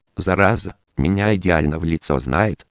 зараза меня идеально в лицо